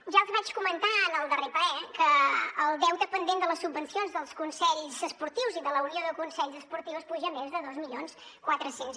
ja els vaig comentar en el darrer ple que el deute pendent de les subvencions dels consells esportius i de la unió de consells esportius puja més de dos mil quatre cents